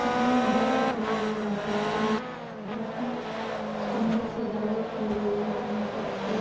यहाँ एक डर दिखाई दे रहा है जिसमे काफी सुंदर सजावट की गई है जहां पर कोई।